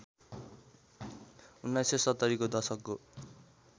१९७० को दशकको